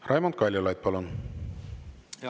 Raimond Kaljulaid, palun!